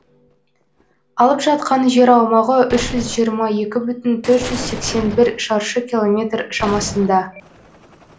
алып жатқан жер аумағы үш жүз жиырма екі бүтін төрт жүз сексен бір шаршы километр шамасында